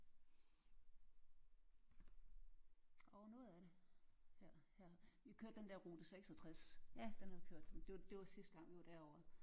Ah noget af det her her. Vi kørte den der rute 66 den har vi hørt det var sidste gang vi var derover